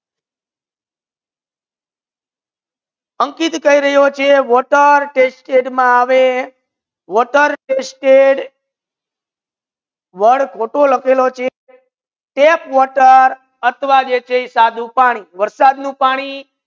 અંકિત કહી રાહિયો છે કે વોટર ટેસ્ટેડ મા આવે water tested વર્ડ ખોટુ લાખેલુ છે tap water આથવા જે છે એ સાદુ પાની વર્ષાદ નુ પાની